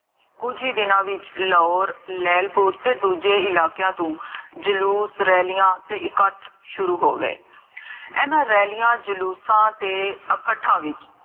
ਕੁਜ ਹੀ ਦਿਨਾ ਵਿਚ ਲਾਹੋਰ, ਲੈਲਪੁਰ ਤੇ ਦੂਜੇ ਇਲਾਕਿਆਂ ਤੋਂ ਜਲੂਸ, ਰੈਲੀਆਂ ਤੇ ਇਕਠ ਸ਼ੁਰੂ ਹੋ ਗਏ l ਇੰਨਾ ਰੈਲੀਆਂ, ਜਲੂਸਾਂ ਤੇ ਅਕਾਠਾਂ ਵਿੱਚ